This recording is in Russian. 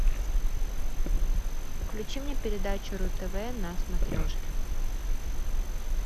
включи мне передачу ру тв на смотрешке